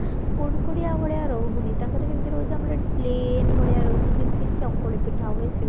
କୁଡ୍କୁଡିଆ ଭଳିଆ ରହୁନି ତାଙ୍କର ଯେମତି ରହୁଛି ଆମର ଏଠି plane ଭଳିଆ ରହୁଛି ଯେମତି ଚକୁଳି ପିଠା ହୁଏ ସେମତି